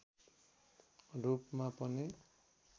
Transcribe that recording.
रूपमा पनि